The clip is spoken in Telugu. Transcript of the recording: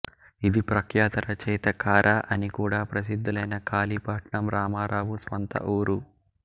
ఇది ప్రఖ్యాత రచయిత కారా అనికూడా ప్రసిద్ధులైన కాళీపట్నం రామారావు స్వంత ఊరు